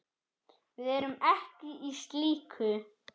Við erum ekki í slíku.